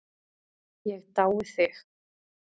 Ég dái þig.